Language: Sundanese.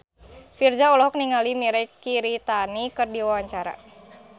Virzha olohok ningali Mirei Kiritani keur diwawancara